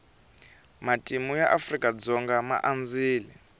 matimu ya afrika dzonga ma andzile